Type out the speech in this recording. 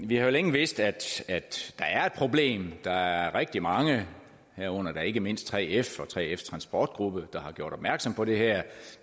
vi har jo længe vidst at der er et problem der er rigtig mange herunder da ikke mindst 3f og 3fs transportgruppen der har gjort opmærksom på det her